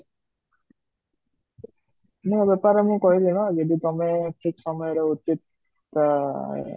ମୁଁ ବେପାରରେ ମୁଁ କହିଲି ନା ଯଦି ତମେ ଠିକ ସମୟରେ ଉଚିତ ଠିକ ଆଃ